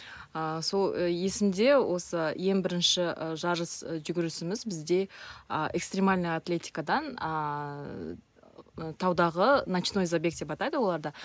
ааа сол есімде осы ең бірінші жарыс жүгірісіміз бізде а экстремальный атлетикадан ааа таудаға ночной забег деп атайды оларды